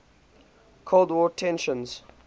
cold war tensions